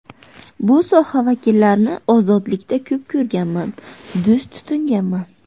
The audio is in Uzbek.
Bu soha vakillarini ozodlikda ko‘p ko‘rganman, do‘st tutinganman.